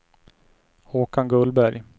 Håkan Gullberg